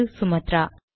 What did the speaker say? இது சுமத்ரா